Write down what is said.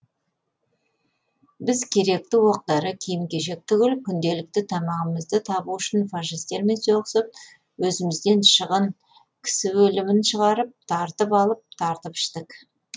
біз керекті оқ дәрі киім кешек түгіл күнделікті тамағымызды табу үшін фашистермен соғысып өзімізден шығын кісі өлімін шығарып тартып алып тартып іштік